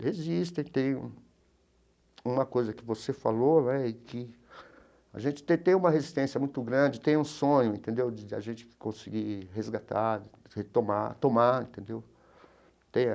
Resistem, tem um uma coisa que você falou, né, e que a gente até tem uma resistência muito grande, tem um sonho, entendeu, de a gente conseguir resgatar, retomar, tomar, entenderam?